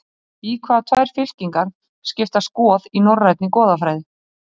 Í hvaða tvær fylkingar skiptast goð í norrænni goðafræði?